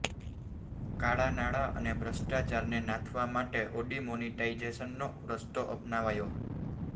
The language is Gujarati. કાળા નાણાં અને ભ્રષ્ટાચારને નાથવા માટે ઔડિમોનિટાઇઝેશનનો રસ્તો અપનાવાયો